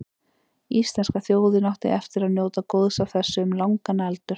Íslenska þjóðin átti eftir að njóta góðs af þessu um langan aldur.